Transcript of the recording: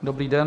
Dobrý den.